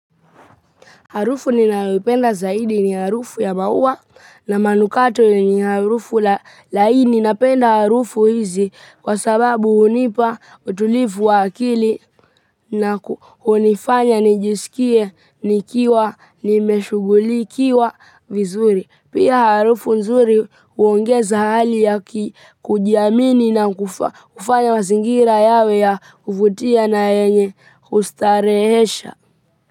Harufu ninayoipenda zaidi ni harufu ya maua na manukato. Ni harufu hii ninayoipenda. Ninapenda harufu hizi kwa sababu hunipa utulivu wa akili na hunifanya nijisikie, nikiwa nimeshughulikiwa vizuri. Pia harufu nzuri huongeza hali ya kujiamini na hufanya mazingira yawe ya furaha na yenye kustarehesha.